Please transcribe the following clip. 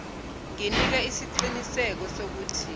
nginika isiqiniseko sokuthi